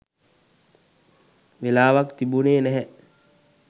වෙලාවක් තිබුනේ නැහැ.